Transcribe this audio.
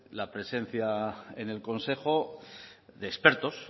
la presencia en el consejo de expertos